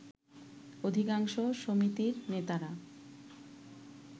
অধিকাংশ সমিতির নেতারা